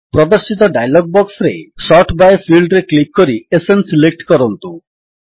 ପ୍ରଦର୍ଶିତ ଡାୟଲଗ୍ ବକ୍ସରେ sort by ଫିଲ୍ଡରେ କ୍ଲିକ୍ କରି ଏସଏନ୍ ସିଲେକ୍ଟ କରନ୍ତୁ